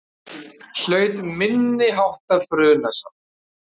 Hlaut minniháttar brunasár